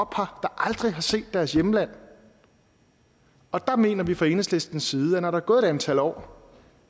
aldrig har set deres hjemland og der mener vi fra enhedslistens side at når der er gået et antal år